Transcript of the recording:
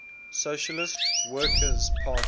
socialist workers party